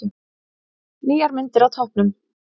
Nýjar myndir á toppnum